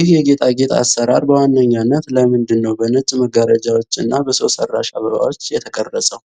ይህ የጌጣጌጥ አሰራር በዋነኛነት ለምንድነው በነጭ መጋረጃዎች እና በሰው ሰራሽ አበባዎች የተዋቀረው?